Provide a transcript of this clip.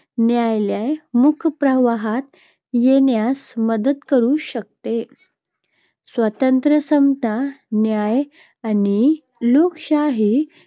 न्यायालय मुख्य प्रवाहात येण्यास मदत करू शकते. स्वातंत्र्य, समता, न्याय आणि लोकशाही